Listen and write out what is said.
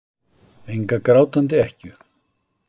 Enga grátandi ekkju.